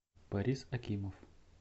борис акимов